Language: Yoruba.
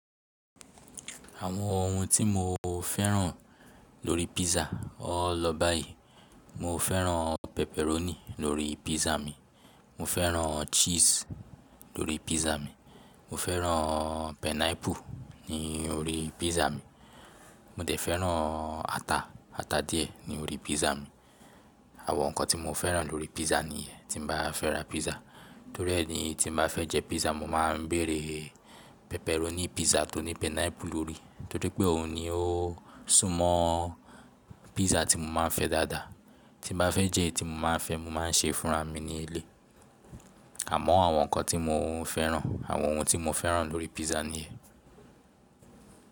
Àwọn oun tí mo fẹ́ràn lórí písà ọ́ lọ báyìí. Mo fẹ́ràn pepperoni lórí písà mi, mo fẹ́ràn cheese lórí písà mi, mo fẹ́ràn pineapple ní orí písà mi, mo dẹ̀ fẹ́ràn ata, ata díẹ̀ ní orí písà mi. Àwọn nǹkan tí mo fẹ́ràn lórí písà nìyẹ́n tí n bá fẹ́ ra písà. Torí ẹ ni tí n bá fẹ́ jẹ písà mo má a ń bèrè pepperoni písà tó ní pineapple lórí. Torí pé òun ni ó sún mọ́ písà tí mo máa ń fẹ́ dáadáa. Tí n bá fẹ́ jẹ́ èyí tí mo máa ń fẹ́, mo máa ń ṣe fúnra mi ní ilé. Àmọ́ àwọn nǹkan tí mo fẹ́ràn, àwọn ohun tí mo fẹ́ràn lórí písà ni ìyẹ́.